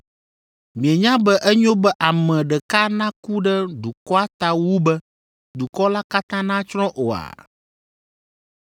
Mienya be enyo be ame ɖeka naku ɖe dukɔa ta wu be dukɔ la katã natsrɔ̃ oa?”